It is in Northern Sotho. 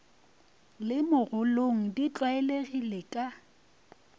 le mogolong di tlwaelegile ka